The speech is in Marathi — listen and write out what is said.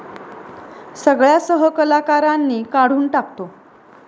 सगळ्या सहकलाकारांनी काढून टाकतो.